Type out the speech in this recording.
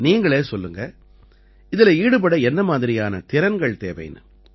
நீங்களே சொல்லுங்க இதில ஈடுபட என்ன மாதிரியான திறன்கள் தேவைன்னு